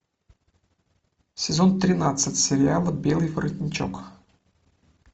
сезон тринадцать сериала белый воротничок